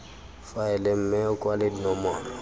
faele mme o kwale dinomoro